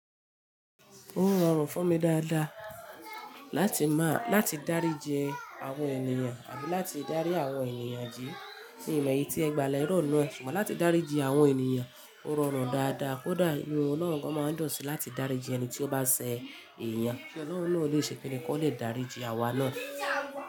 Ó rọrùn fún mi dáadáa láti máa, láti dáríji àwọn ènìyàn àbí láti dárí àwọn ènìyàn yi. Kí ìlẹ yìí tí ẹ gba lẹ́rọ̀ náà, ṣùgbọ́n láti dáríji àwọn ènìyàn ó rọrùn dáadáa, kódà inu Ọlọ́run gan máa ń dunsi láti dáríji ẹni tí ó bá ṣẹ̀ èèyàn, kí Ọlọ́run náà ò léṣe kíni kí ó le daríji àwa náà.